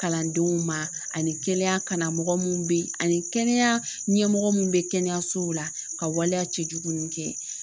Kalandenw ma ani kɛnɛya karamɔgɔ minnu bɛ yen ani kɛnɛya ɲɛmɔgɔ minnu bɛ kɛnɛyasow la ka waleya cɛjugu ninnu kɛ.